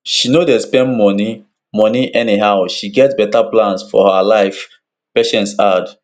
she no dey spend money money anyhow she get beta plans for her life patience add